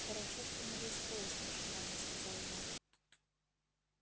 хорошо что не весь поезд машинально сказал я